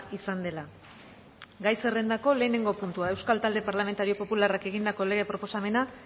izan dela gai zerrendako lehenengo puntua euskal talde parlamentario popularrak egindako lege proposamena